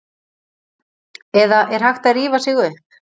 Eða er hægt að rífa sig upp?